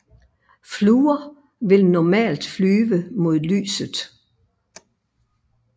Fluer vil normalt flyve mod lyset